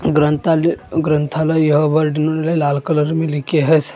ग्रंथालय ग्रंथालय यह वर्ड इन्होने लाल कलर में लिखे हैं।